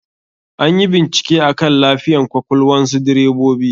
Anyi bincike akan lafiyan kwakwalnsu direbobi.